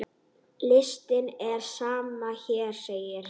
Listinn er sem hér segir